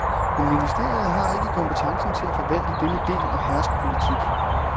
Men ministeriet har ikke kompetencen til at forvalte denne del og hersk politik.